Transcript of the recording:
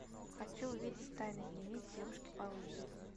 хочу увидеть тайный дневник девушки по вызову